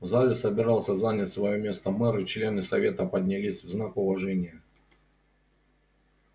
в зале собирался занять своё место мэр и члены совета поднялись в знак уважения